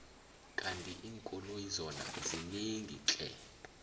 kandi inkoloyi zona zinengi tle